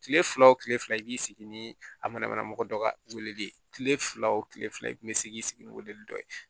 Kile fila o kile fila i b'i sigi ni a manamana mɔgɔ dɔ ka weleli ye kile fila o kile fila i kun be se k'i sigi ni weleli dɔ ye